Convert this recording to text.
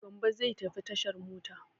Gambo zai tafi tashar mota.